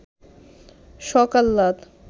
শখ আহ্লাদ